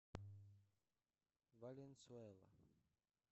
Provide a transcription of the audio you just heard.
валенсуэла